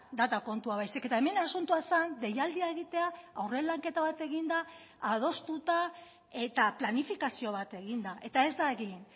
data kontua baizik eta hemen asuntoa zen deialdia egitea aurre lanketa bat eginda adostuta eta planifikazio bat eginda eta ez da egin